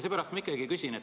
Seepärast ma ikkagi küsin.